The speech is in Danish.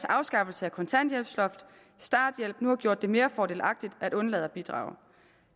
afskaffelse af kontanthjælpsloftet og starthjælpen nu har gjort det mere fordelagtigt at undlade at bidrage